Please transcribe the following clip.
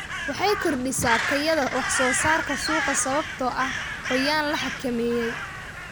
Waxay kordhisaa tayada wax soo saarka suuqa sababtoo ah qoyaan la xakameeyey.